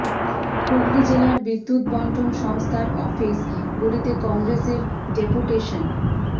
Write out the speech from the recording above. হুগলী জেলার বিদ্যুৎ বন্টন সংস্থার অফিস গুলিতে কংগ্রেসের ডেপুটেশন